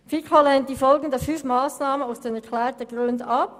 Die FiKo lehnt die folgenden fünf Massnahmen aus den erklärten Gründen ab.